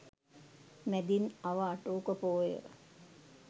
මැදින් අව අටවක පෝය